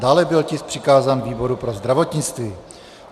Dále byl tisk přikázán výboru pro zdravotnictví.